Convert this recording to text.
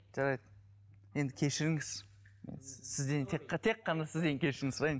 жарайды енді кешіріңіз сізден тек қана сізден кешірім сұрайын